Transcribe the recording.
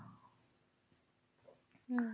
হম